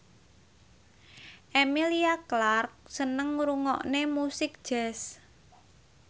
Emilia Clarke seneng ngrungokne musik jazz